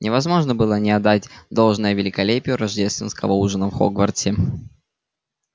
невозможно было не отдать должное великолепию рождественского ужина в хогвартсе